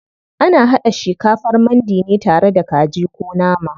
Ana haɗa shikafar mandi ne tare da kaji ko nama.